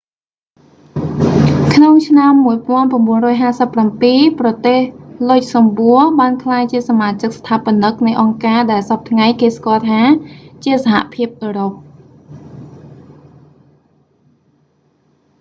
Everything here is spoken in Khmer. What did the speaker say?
ក្នុងឆ្នាំ 1957 ប្រទេស លុចសំបួ luxembourg បានក្លាយជាសមាជិកស្ថាបនិកនៃអង្គការដែលសព្វថ្ងៃគេស្គាល់ថា ជាសហភាពអឺរ៉ុប